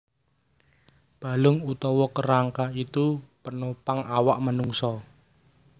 Balung utawa kerangka iku panopang awak manungsa